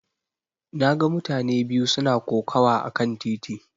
Na ga mutane biyu suna kokawa akan titi.